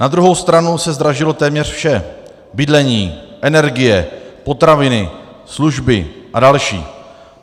Na druhou stranu se zdražilo téměř vše - bydlení, energie, potraviny, služby a další.